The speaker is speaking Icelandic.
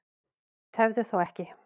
Tefðu þá ekki.